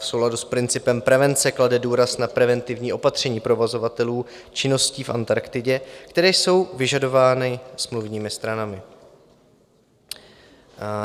V souladu s principem prevence klade důraz na preventivní opatření provozovatelů činností v Antarktidě, které jsou vyžadovány smluvními stranami.